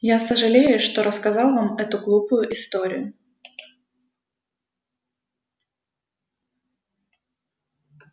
я сожалею что рассказал вам эту глупую историю